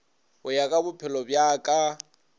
go ya ka bophelobja ka